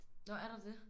Nå er der det?